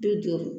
Bi duuru